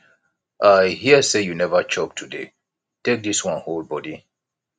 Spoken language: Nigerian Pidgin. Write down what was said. i hear say you never chop today take dis wan hold body